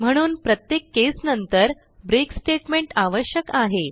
म्हणून प्रत्येक केस नंतर ब्रेक स्टेटमेंट आवश्यक आहे